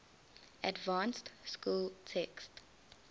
advanced school text